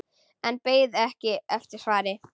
En beið ekki eftir svari.